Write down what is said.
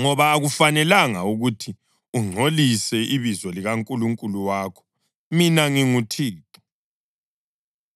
ngoba akufanelanga ukuthi ungcolise ibizo likaNkulunkulu wakho. Mina nginguThixo.